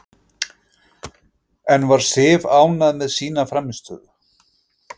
En var Sif ánægð með sína frammistöðu?